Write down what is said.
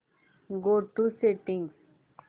go to settings